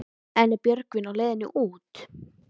En er Björgvin á leiðinni út?